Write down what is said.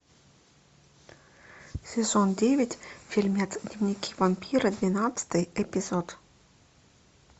сезон девять фильмец дневники вампира двенадцатый эпизод